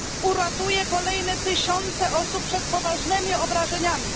Uratuje kolejne tysiące osób przed poważnymi obrażeniami.